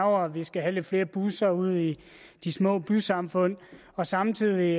og at vi skal have lidt flere busser ude i de små bysamfund og samtidig